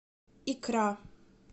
икра